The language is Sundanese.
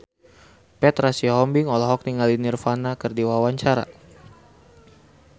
Petra Sihombing olohok ningali Nirvana keur diwawancara